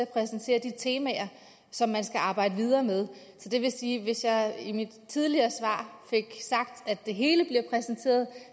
præsentere de temaer som man skal arbejde videre med så det vil sige at hvis jeg i mit tidligere svar fik sagt at det hele bliver præsenteret